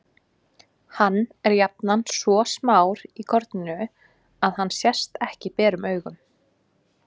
Hann er jafnan svo smár í korninu að hann sést ekki berum augum.